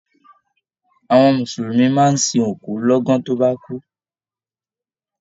Àwọn mùsùlùmí máa n sìn òkú l'ọ̀gan to ba kú.